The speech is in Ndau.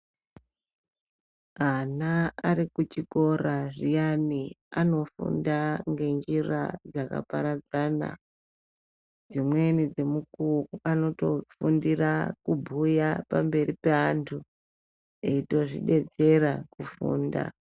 Ana arikuchikora zviyani ano funda ngenjira dzakaparadzana dzimweni dzemukuwo anotofundira kubhuya pamberi peandu eitozvidetsera kufunda.